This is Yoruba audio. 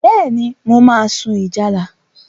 Bẹ́ẹ̀ni, mo máa sun ìjálá.